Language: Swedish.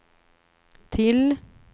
till